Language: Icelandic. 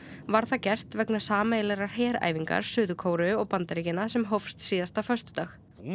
var það gert vegna sameiginlegrar heræfingar Suður Kóreu og Bandaríkjanna sem hófst síðasta föstudag nú